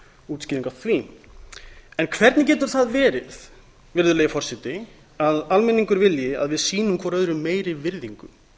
útskýring á því hvernig getur það verið virðulegi forseti að almenningur vilji að við sýnum hver öðrum meiri virðingu